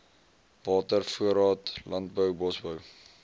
watervoorraad landbou bosbou